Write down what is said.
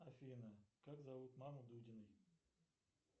афина как зовут маму дудиной